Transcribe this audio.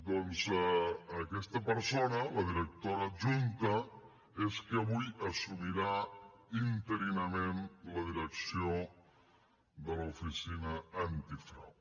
doncs aquesta persona la directora adjunta és qui avui assumirà interinament la direcció de l’oficina antifrau